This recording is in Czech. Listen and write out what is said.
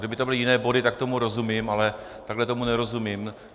Kdyby to byly jiné body, tak tomu rozumím, ale takhle tomu nerozumím.